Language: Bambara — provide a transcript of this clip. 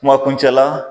Kuma kuncɛ la